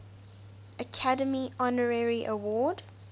academy honorary award